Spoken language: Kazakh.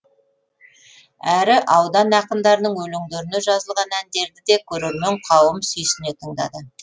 әрі аудан ақындарының өлеңдеріне жазылған әндерді де көрермен қауым сүйсіне тыңдады